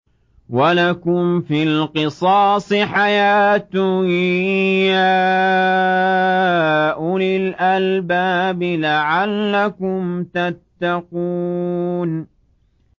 وَلَكُمْ فِي الْقِصَاصِ حَيَاةٌ يَا أُولِي الْأَلْبَابِ لَعَلَّكُمْ تَتَّقُونَ